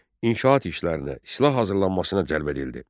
İnşaat işlərinə, silah hazırlanmasına cəlb edildi.